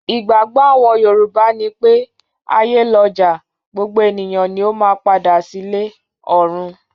Ìgbàgbọ́ àwọn Yorùbá ni pé; ayé lọjà, gbogbo ènìyàn ni ó máa padà sílé (ọ̀run).